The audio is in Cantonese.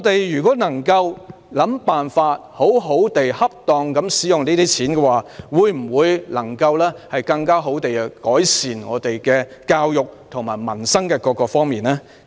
如果我們能夠想辦法恰當地使用這筆錢，會否更好地改善教育和民生呢？